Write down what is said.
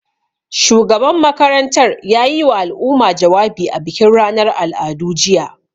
Shugaban makarantar ya yiwa al'umma jawabi a bikin ranar al'adu, jiya.